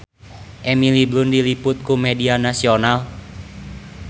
Emily Blunt diliput ku media nasional